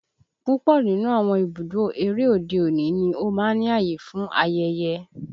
Púpọ̀ nínú àwọn ibùdó eré òde-òní ni ó máa ń ní ààyè fún ayẹyẹ